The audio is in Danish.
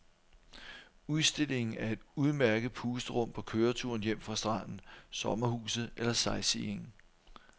Udstillingen er et udmærket pusterum på køreturen hjem fra stranden, sommerhuset eller sightseeingen.